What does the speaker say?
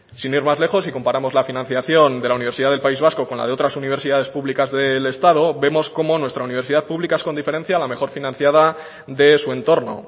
sin ir más lejos y comparamos la financiación de la universidad del país vasco con la de otras universidades públicas del estado vemos cómo nuestra universidad pública es con diferencia la mejor financiada de su entorno